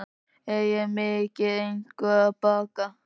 Er ég mikið eitthvað að baka?